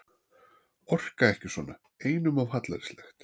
Orka ekki svona, einum of hallærislegt.